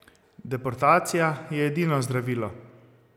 Deportacija je edino zdravilo!